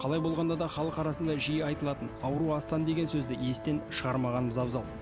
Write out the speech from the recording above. қалай болғанда да халық арасында жиі айтылатын ауру астан деген сөзді естен шығармағанымыз абзал